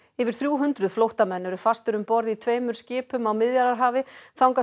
yfir þrjú hundruð flóttamenn eru fastir um borð í tveimur skipum á Miðjarðarhafi þangað